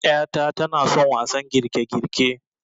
'yata tanason wasan girkegirke